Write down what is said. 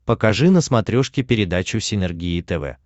покажи на смотрешке передачу синергия тв